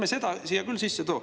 Nii et ärme seda küll siia sisse too.